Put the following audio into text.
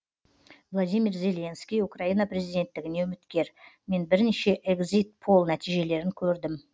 владимир зеленский украина президенттігіне үміткер мен бірнеше экзит пол нәтижелерін көрдім